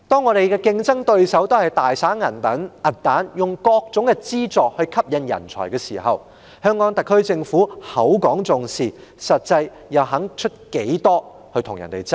我們的競爭對手現時大灑銀彈，利用各種資助吸引人才，香港特區政府口講重視，實際上又願意付出多少與其他地區競爭？